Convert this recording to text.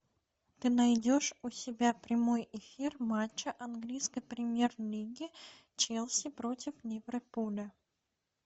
ты найдешь у себя прямой эфир матча английской премьер лиги челси против ливерпуля